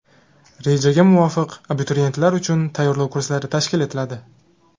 Rejaga muvofiq, abituriyentlar uchun tayyorlov kurslari tashkil etiladi.